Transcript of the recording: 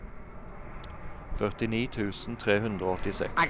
førtini tusen tre hundre og åttiseks